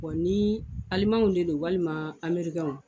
ni alimanw de don walima amerikɛnw